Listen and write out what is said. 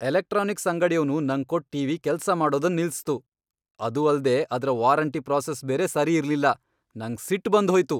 Electronics ಅಂಗಡಿಯವ್ನು ನಂಗ್ ಕೊಟ್ ಟಿವಿ ಕೆಲ್ಸ ಮಾಡೊದನ್ ನಿಲ್ಸಿತು ಅದು ಅಲ್ದೆ ಅದ್ರ ವಾರಂಟಿ ಪ್ರಾಸೆಸ್ ಬೇರೆ ಸರಿ ಇರ್ಲಿಲ್ಲ ನಂಗ್ ಸಿಟ್ ಬಂದ್ ಹೋಯ್ತು.